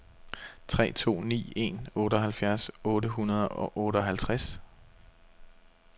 tre to ni en otteoghalvfjerds otte hundrede og otteoghalvtreds